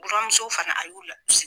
Buramusow fana a y'u la